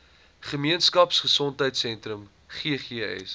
gemeenskap gesondheidsentrum ggs